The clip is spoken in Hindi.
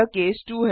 यह केस 2 है